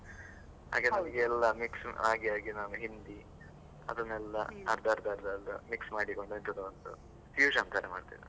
ನನಗೆ ಎಲ್ಲ mix ಆಗಿ ಆಗಿ ನಾನು ಹಿಂದಿ, ಅದನ್ನೆಲ್ಲಾ ಅರ್ಧ ಅರ್ಧ ಅರ್ಧ mix ಎಲ್ಲ ಮಾಡಿಕೊಂಡು ಎಂತದೋ ಒಂದು fusion ತರ ಮಾಡ್ತೇನೆ.